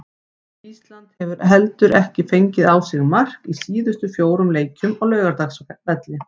Ísland hefur heldur ekki fengið á sig mark í síðustu fjórum leikjum á Laugardalsvelli.